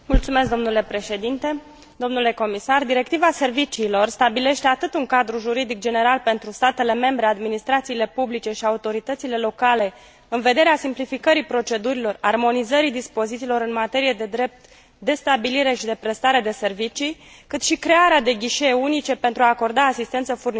Directiva serviciilor stabilește atât un cadru juridic general pentru statele membre, administrațiile publice și autoritățile locale în vederea simplificării procedurilor, armonizării dispozițiilor în materie de drept de stabilire și de prestare de servicii, cât și crearea de ghișee unice pentru a acorda asistență furnizorilor de servicii și, în special, IMM urilor.